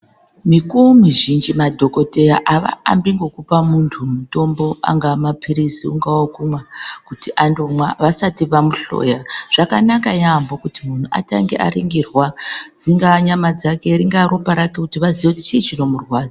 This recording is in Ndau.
Mikuwo mizhinji madhokodheya avaambi ngekupa muntu mutombo angaa mapilizi, ungaa wekumwa vasati vamuhloya zvakanaka yamho kuti muntu atange aringirwa dzingaa nyama dzake, ringaa ropa rake kuti vaziye kuti chii chinomurwadza.